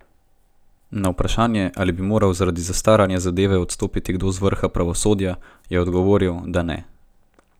Na vprašanje, ali bi moral zaradi zastaranja zadeve odstopiti kdo z vrha pravosodja, je odgovoril, da ne.